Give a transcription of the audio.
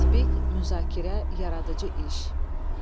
Tətbiq, müzakirə, yaradıcı iş.